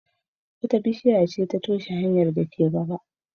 Wata bishiya ce ta toshe hanyar da ke gaba.